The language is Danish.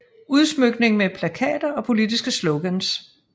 Udsmykning med plakater og politiske slogans